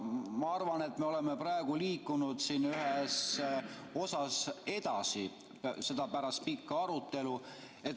Aga ma arvan, et me oleme praegu liikunud ühes osas edasi pärast seda pikka arutelu.